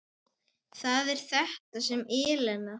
Það er þetta með ellina.